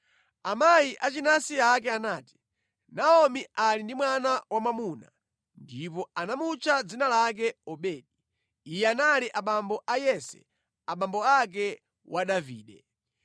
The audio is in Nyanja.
Amayi achinansi ake anati, “Naomi ali ndi mwana wamwamuna.” Ndipo anamutcha dzina lake Obedi. Iye anali abambo a Yese abambo ake a Davide.